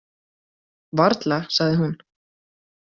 Varla, sagði hún.